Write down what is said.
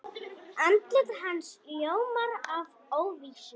Andlit hans ljómar af óvissu.